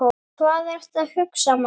Hvað ertu að hugsa, maður?